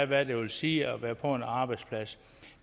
hvad det vil sige at være på en arbejdsplads